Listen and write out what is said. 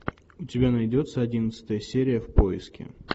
у тебя найдется одиннадцатая серия в поиске